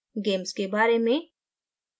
about gamess gamess के बारे में